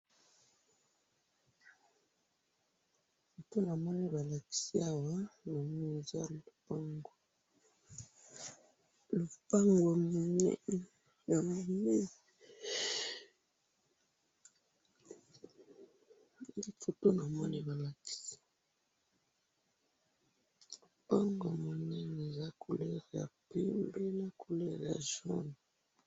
photo namoni balakisi awa namoni eza lopango, lopango ya munene nde namoni photo balakisi, lopango ya munene eza na couleur ya pembe na couleur ya jaune.